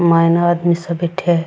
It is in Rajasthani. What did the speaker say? मायने आदमी सा बैठया है।